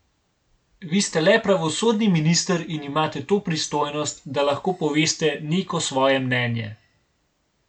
Vi ste le pravosodni minister in imate to pristojnost, da lahko poveste neko svoje mnenje?